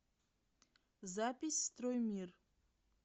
запись строймир